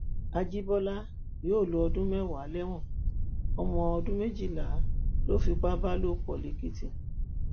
àjìbọlá yóò lo ọdún mẹwàá lẹwọn ọmọ ọdún méjìlá ló fipá bá lò pọ lẹèkìtì